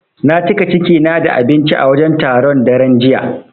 Na cika ciki na da abinci a wajen taron, daren jiya.